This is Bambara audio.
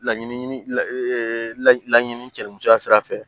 Laɲini laɲini cɛli musoya sira fɛ